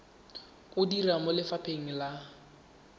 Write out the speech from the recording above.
o dira mo lefapheng la